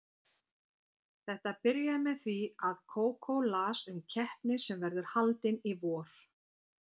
Þetta byrjaði með því að Kókó las um keppni sem verður haldin í vor.